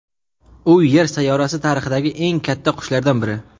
U Yer sayyorasi tarixidagi eng katta qushlardan biri.